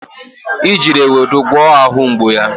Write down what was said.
I jiri ewedu gwọọ ahụ mgbu ya.